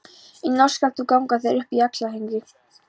Í nótt skalt þú ganga þér upp í Axlarhyrnu.